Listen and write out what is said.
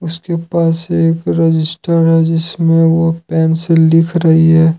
इसके पास एक रजिस्टर है जिसमें वो पेन से लिख रही है।